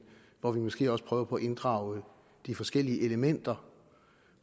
hvor vi måske også prøver på at inddrage de forskellige elementer